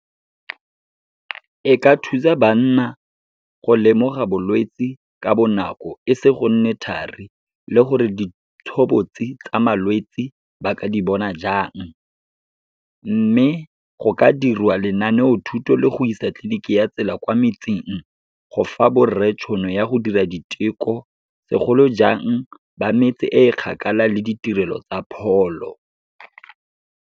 E ka thusa banna go lemoga bolwetse ka bonako, e se go nne thari, le gore ditshobotsi tsa malwetsi ba ka di bona jang. Mme, go ka diriwa lenaneo thuto le go isa tleliniki ya tsela kwa metseng, go fa borre tšhono ya go dira diteko, segolojang ba metse e kgakala le ditirelo tsa pholo.